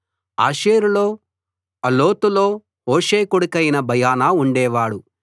ఆషేరులో ఆలోతులో హూషై కొడుకైన బయనా ఉండేవాడు